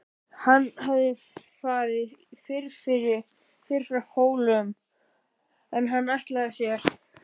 Hann hafði farið fyrr frá Hólum en hann ætlaði sér.